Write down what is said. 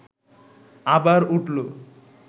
আবার উঠল